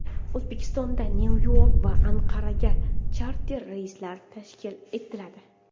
O‘zbekistondan Nyu-York va Anqaraga charter reyslar tashkil etiladi.